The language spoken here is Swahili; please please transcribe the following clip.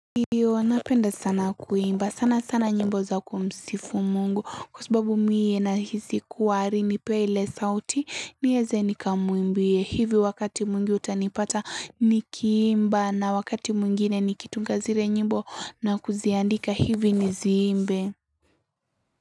Iyo huwa napenda sana kuimba sana sana nyimbo za kumsifu mungu kwa sababu mie nahisi kuwari nipee ile sauti nieze nikamuimbie hivyo wakati mwingi utanipata nikiimba na wakati mwingine nikitunga zile nyimbo na kuziandika hivi niziimbe.